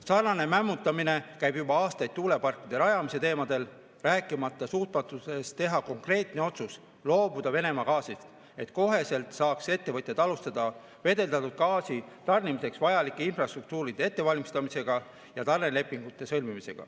Sarnane mämmutamine käib juba aastaid tuuleparkide rajamisel, rääkimata suutmatusest teha konkreetne otsus loobuda Venemaa gaasist, et ettevõtjad saaks kohe alustada gaasi tarnimiseks vajalike infrastruktuuride ettevalmistamist ja tarnelepingute sõlmimist.